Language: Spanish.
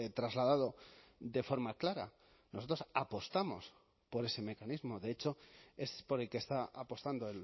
trasladado de forma clara nosotros apostamos por ese mecanismo de hecho es por el que está apostando